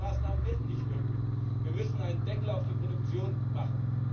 Diese freiwilligen Maßnahmen werden nicht wirken. Wir müssen einen Deckel auf die Produktion machen.